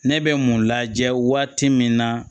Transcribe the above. Ne bɛ mun lajɛ waati min na